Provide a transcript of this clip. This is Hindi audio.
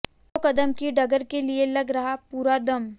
दो कदम की डगर के लिए लग रहा पूरा दम